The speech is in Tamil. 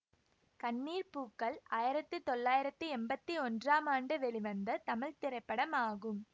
கண்ணீர் பூக்கள் ஆயிரத்தி தொள்ளாயிரத்தி எம்பத்தி ஒன்றாம் ஆண்டு வெளிவந்த தமிழ் திரைப்படமாகும்